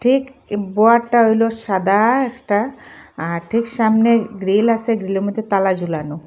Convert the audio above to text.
ঠিক এ বয়ারটা হইল সাদা একটা আর ঠিক সামনে গ্রিল আসে গ্রিলের মধ্যে তালা ঝোলানো--